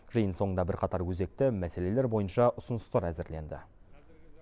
жиын соңында бірқатар өзекті мәселелер бойынша ұсыныстар әзірленді